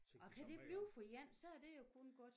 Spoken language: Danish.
Og kan det blive for en så er det jo kun godt